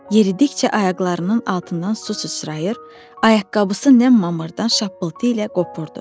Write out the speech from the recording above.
Yeridikcə ayaqlarının altından su süçrayır, ayaqqabısı nəm mamırdan şappıltı ilə qopurdu.